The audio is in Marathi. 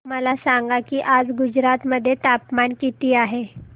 मला सांगा की आज गुजरात मध्ये तापमान किता आहे